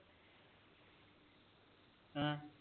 ਹੈ